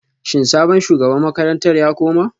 Shin sabon shugaban makarantar ya koma